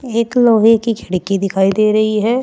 एक लोहे की खिड़की दिखाई दे रही है।